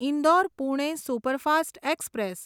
Indore Pune superfast express